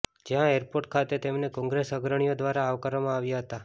જ્યાં એરપોર્ટ ખાતે તેમને કોંગ્રેસ અગ્રણીઓ દ્વારા આવકારવામાં આવ્યા હતા